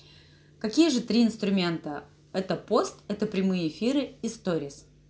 какие же три инструмента это пост это прямые эфиры и сторис